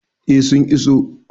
eh su iso